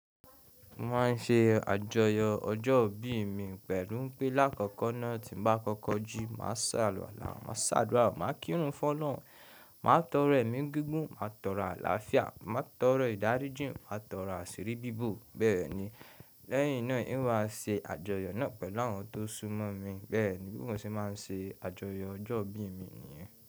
Mo máa ń ṣe àjọyọ̀ ọjọ́ ìbí mi pẹ̀lú pé lákòókò náà tí mo bá kọ́kọ́ ji, màá sàluwàla, màá ṣe adúrà, màá kírun fun ọlọhun, màá tọrọ ẹ̀mí gígùn, màá tọrọ àlàáfíà, màá tọrọ ìdáríjìn, màá tọrọ àṣírí bíbo Bẹ́ẹ̀ ni, lẹ́yìn náà ń wa ṣe àjọyọ̀ náà pẹ̀lú àwọn tó súmọ́ mi. Bẹ́ẹ̀ ni bí mo ṣe máa ń ṣe àjọyọ̀ ọjọ́ ìbí mi nìyẹn.